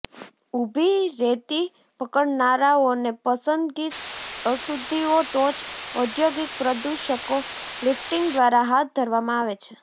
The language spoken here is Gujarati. ઊભી રેતી પકડનારાઓને પસંદગી અશુદ્ધિઓ ટોચ ઔધોગિક પ્રદુષકો લિફ્ટિંગ દ્વારા હાથ ધરવામાં આવે છે